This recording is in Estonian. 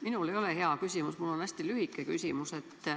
Minul ei ole head küsimust, mul on hästi lühike küsimus.